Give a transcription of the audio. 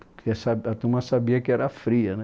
Porque sabe a turma sabia que era fria, né?